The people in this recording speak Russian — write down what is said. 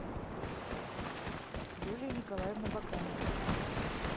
юлия николаевна богданова